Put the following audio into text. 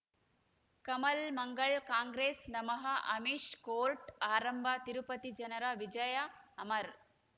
ಕಮಲ್ ಮಂಗಳ್ ಕಾಂಗ್ರೆಸ್ ನಮಃ ಅಮಿಷ್ ಕೋರ್ಟ್ ಆರಂಭ ತಿರುಪತಿ ಜನರ ವಿಜಯ ಅಮರ್